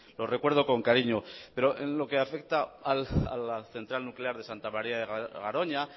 lo recuerdo con cariño pero en lo que afecta a la central nuclear de santa maría de garoña